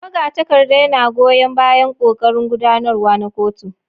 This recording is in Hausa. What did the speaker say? Magatakarda yana goyan bayan ƙoƙarin gudanarwa na kotu.